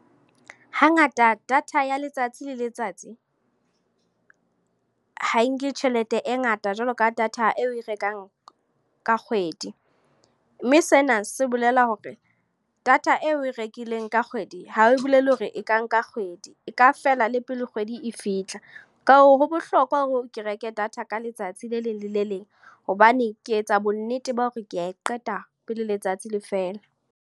Hangata data ya letsatsi le letsatsi, ha nke tjhelete e ngata jwalo ka data eo oe rekang ka kgwedi. Mme sena se bolela hore, data eo oe rekileng ka kgwedi, ha e bolele hore e ka nka kgwedi. E ka fela le pele kgwedi e fihla. Ka hoo, ho bohlokwa hore ke reke data ka letsatsi le leng le le leng. Hobane, ke etsa bonnete ba hore ke a e qeta, pele letsatsi le fela.